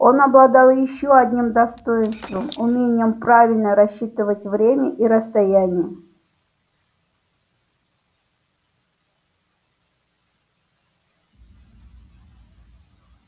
он обладал ещё одним достоинством умением правильно рассчитывать время и расстояние